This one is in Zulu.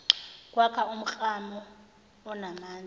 kwakha umklamo onamandla